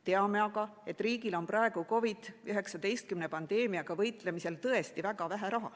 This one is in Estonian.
Teame aga, et riigil on praegu COVID‑19 pandeemiaga võitlemise tõttu tõesti väga vähe raha.